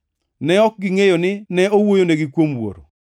Ne ok gingʼeyo ni ne owuoyonegi kuom Wuoro.